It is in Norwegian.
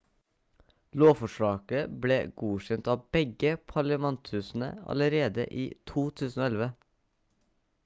lovforslaget ble godkjent av begge parliamenthusene allerede i 2011